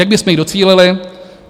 Jak bychom jí docílili?